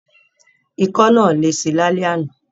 Ikọ́ náà lesi lálẹ́ àná.